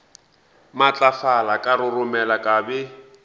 matlafala ka roromela ka be